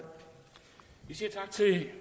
er et